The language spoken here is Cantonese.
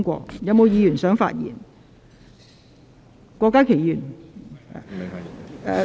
是否有議員想發言？